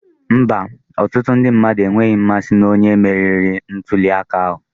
Mba, ọtụtụ ndị mmadụ enweghị mmasị na onye meriri ntuli aka ahụ